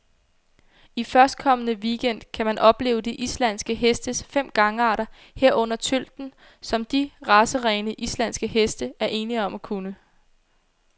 I førstkommende weekend gang kan man opleve de islandske hestes fem gangarter, herunder tølten, som de racerene, islandske heste er ene om at kunne.